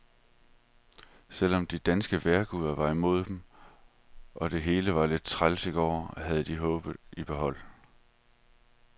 Selv om de danske vejrguder var imod dem, og det hele var lidt træls i går, havde de håbet i behold.